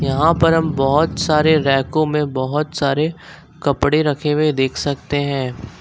यहां पर हम बहुत सारे रैकों में बहुत सारे कपड़े रखे हुए देख सकते हैं।